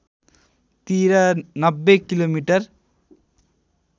तिर ९० किमि